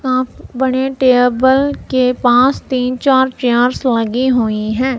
सा बड़े टेबल के पास तीन चार चेयर्स लगी हुई हैं।